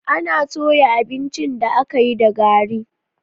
Ana toya abincin da aka yi da gari.